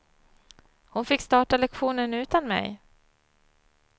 Hon fick starta lektionen utan mig.